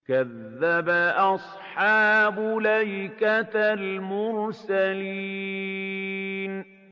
كَذَّبَ أَصْحَابُ الْأَيْكَةِ الْمُرْسَلِينَ